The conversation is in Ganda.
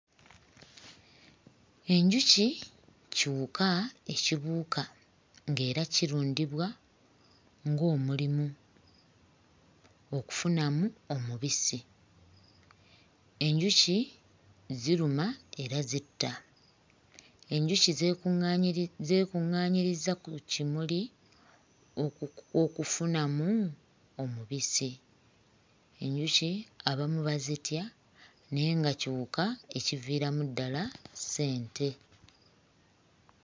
Enjuki kiwuka ekibuuka ng'era kirundibwa ng'omulimu okufunamu omubisi. Enjuki ziruma era zitta. Enjuki zeekuŋŋaanyirizza ku kimuli oku okufunamu omubisi. Enjuki abamu bazitya naye nga kiwuka ekiviiramu ddala ssente.